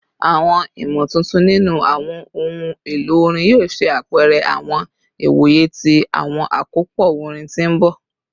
Awọn imotuntun ninu awọn ohun elo orin yoo ṣe apẹrẹ awọn iwoye ti awọn akopọ orin ti n bọ